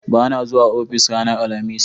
ba na zuwa ofis ranar alhamis